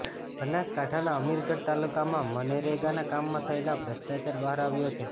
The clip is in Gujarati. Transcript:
બનાસકાંઠાના અમીરગઢ તાલુકામાં મનરેગાના કામમાં થયેલો ભ્રષ્ટાચાર બહાર આવ્યો છે